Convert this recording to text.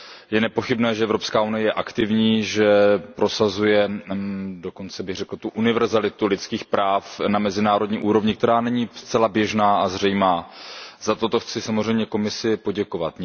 Je nepochybné, že Evropská unie je aktivní, že prosazuje, dokonce bych řekl tu univerzalitu lidských práv na mezinárodní úrovni, která není zcela běžná a zřejmá. Za toto chci samozřejmě Komisi poděkovat.